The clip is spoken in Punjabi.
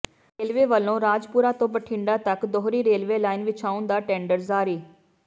ਰੇਲਵੇ ਵੱਲੋਂ ਰਾਜਪੁਰਾ ਤੋਂ ਬਠਿੰਡਾ ਤੱਕ ਦੂਹਰੀ ਰੇਲਵੇ ਲਾਈਨ ਵਿਛਾਉਣ ਦਾ ਟੈਂਡਰ ਜਾਰੀ